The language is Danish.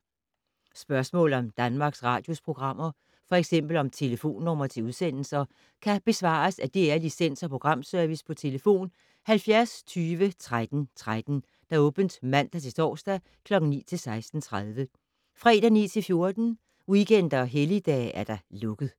Spørgsmål om Danmarks Radios programmer, f.eks. om telefonnumre til udsendelser, kan besvares af DR Licens- og Programservice: tlf. 70 20 13 13, åbent mandag-torsdag 9.00-16.30, fredag 9.00-14.00, weekender og helligdage: lukket.